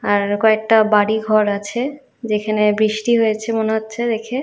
আর কয়েকটা বাড়ি ঘর আছে যেখানে বৃষ্টি হয়েছে মনে হচ্ছে দেখে।